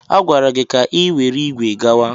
A gwara gị ka i were ígwè gawa!